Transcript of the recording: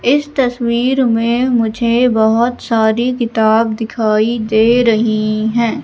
इस तस्वीर में मुझे बहोत सारी किताब दिखाई दे रहीं हैं।